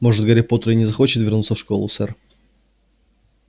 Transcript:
может гарри поттер и не захочет вернуться в школу сэр